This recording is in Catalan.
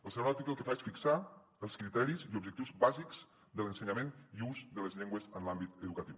el segon article el que fa és fixar els criteris i objectius bàsics de l’ensenyament i ús de les llengües en l’àmbit educatiu